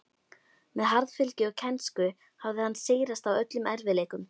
Með harðfylgi og kænsku hafði hann sigrast á öllum erfiðleikum.